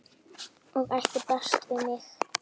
og ætti best við mig